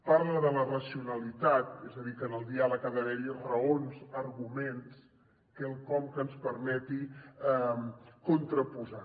parla de la racionalitat és a dir que en el diàleg ha d’haver hi raons arguments quelcom que ens permeti contraposar